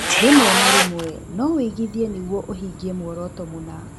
Rĩmwe na rĩmwe no ũigithie nĩguo ũhingie mũoroto mũna.